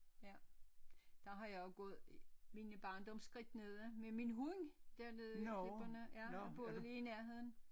Ja der har jeg jo gået mine barndomsskridt nede med min hund dernede i klipperne ja jeg boede lige i nærheden